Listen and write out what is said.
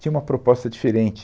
Tinha uma proposta diferente.